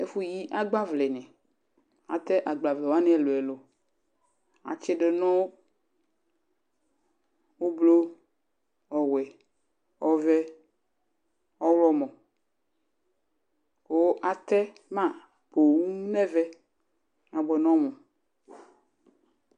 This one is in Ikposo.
ɛfuyi ɑgbavleni ɑte ɑgbavlewani eluelu ɑtsidunu ublu ɔwe ɔve ɔhlomo ku ɑtema pooo neve ɑbuenom